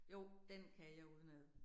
Jo, den kan jeg udenad